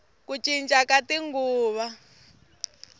ku cinca ka tinguva